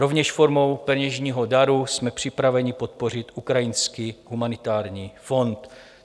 Rovněž formou peněžního daru jsme připraveni podpořit ukrajinský humanitární fond.